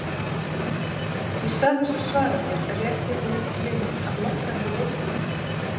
Í stað þess að svara mér rétti hún upp mynd af lokkandi leikkonu.